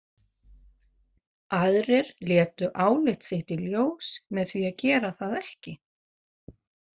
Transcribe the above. Aðrir létu álit sitt í ljós með því að gera það ekki.